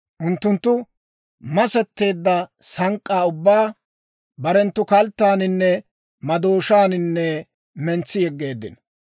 Unttunttu masetteedda sank'k'aa ubbaa, barenttu kalttaaninne madooshaaninne mentsi yeggeeddino.